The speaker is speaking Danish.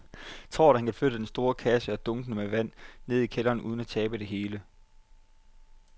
Tror du, at han kan flytte den store kasse og dunkene med vand ned i kælderen uden at tabe det hele?